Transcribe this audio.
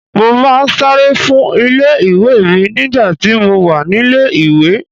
Mo máa ń sáré fún ilé ìwé mi nígbà tí mo wà nílé ìwé.